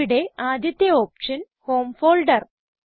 ഇവിടെ ആദ്യത്തെ option home folder